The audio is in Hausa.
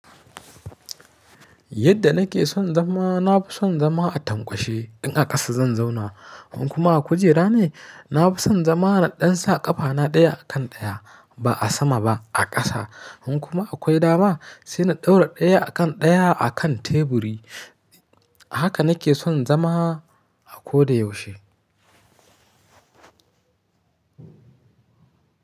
Yadda nake son zama, na fi son zama a tankwashe in a ƙasa zan zauna. In kuma a kujera ne, na fi son zama na dansa ƙafana ɗaya a kan ɗaya ba a sama ba a ƙasa. In kuma akwai dama, sai na ɗaura ɗaya a kan ɗaya a kan teburi. Haka nake son zama a ko da yaushe.